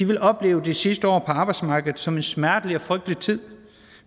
vil opleve de sidste år på arbejdsmarkedet som en smertelig og frygtelig tid